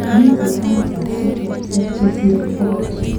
miten cancers cheterter cheshire bokol